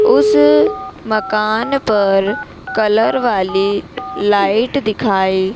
उस मकान पर कलर वाली लाइट दिखाई--